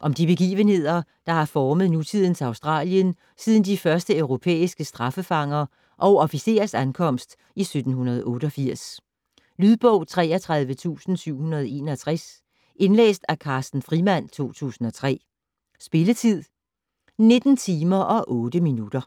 Om de begivenheder, der har formet nutidens Australien siden de første europæiske straffefanger og officerers ankomst i 1788. Lydbog 33761 Indlæst af Carsten Frimand, 2003. Spilletid: 19 timer, 8 minutter.